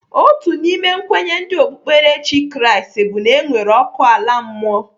Otu n'ime kwenye ndi okpukperechi Kraịst bụ na enwere ọkụ ala mmụọ.